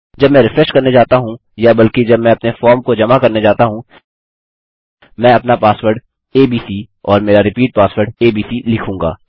जब मैं रिफ्रेश करने जाता हूँ या बल्कि जब मैं अपने फॉर्म को जमा करने जाता हूँ मैं अपना पासवर्ड एबीसी और मेरा रिपीट पासवर्ड एबीसी लिखूँगा